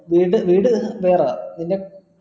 വീട് വീട് വേറെ നിന്റെ